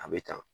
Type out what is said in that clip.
A bɛ tan